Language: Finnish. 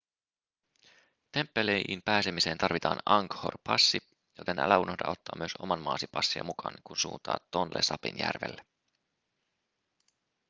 temppeliin pääsemiseen tarvitaan angkor-passi joten älä unohda ottaa myös oman maasi passia mukaan kun suuntaat tonle sapin järvelle